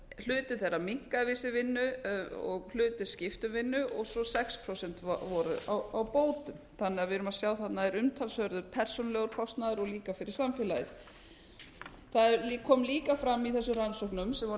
hluti þeirra minnkaði við sig vinnu og hluti skipti um vinnu og sex prósent voru á bótum þannig að við erum að sjá að þarna er umtalsverður persónulegur kostnaður og líka fyrir samfélagið það kom eiga aðra í þessum rannsóknum sem voru